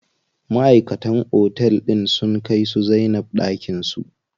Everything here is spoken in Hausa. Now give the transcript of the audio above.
Maʼaikatan otel din sun kai su Zainab ɗakin su.